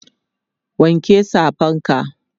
wanke Safan ka!